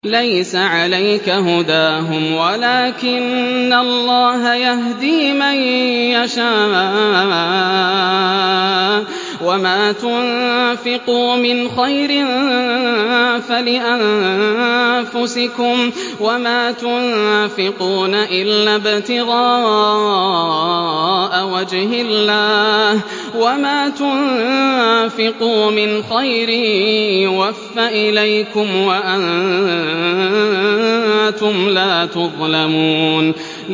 ۞ لَّيْسَ عَلَيْكَ هُدَاهُمْ وَلَٰكِنَّ اللَّهَ يَهْدِي مَن يَشَاءُ ۗ وَمَا تُنفِقُوا مِنْ خَيْرٍ فَلِأَنفُسِكُمْ ۚ وَمَا تُنفِقُونَ إِلَّا ابْتِغَاءَ وَجْهِ اللَّهِ ۚ وَمَا تُنفِقُوا مِنْ خَيْرٍ يُوَفَّ إِلَيْكُمْ وَأَنتُمْ لَا تُظْلَمُونَ